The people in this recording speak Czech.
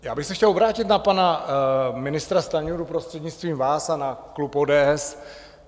Já bych se chtěl obrátit na pana ministra Stanjuru, prostřednictvím vás, a na klub ODS.